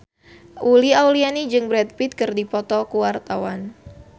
Uli Auliani jeung Brad Pitt keur dipoto ku wartawan